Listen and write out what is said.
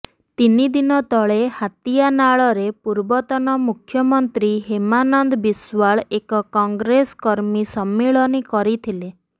ତିନି ଦିନ ତଳେ ହାତୀଆନାଳରେ ପୂର୍ବତନ ମୁଖ୍ୟମନ୍ତ୍ରୀ ହେମାନନ୍ଦ ବିଶ୍ବାଳ ଏକ କଂଗ୍ରେସ କର୍ମୀ ସମ୍ମିଳନୀ କରିଥିଲେ